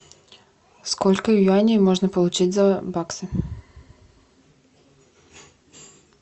сколько юаней можно получить за баксы